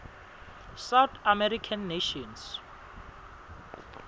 south american nations